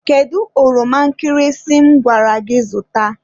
Kedu ọroma nkịrịsị m gwara gị zụta?